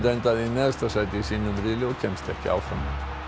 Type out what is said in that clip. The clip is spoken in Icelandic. endaði í neðsta sæti í sínum riðli og kemst ekki áfram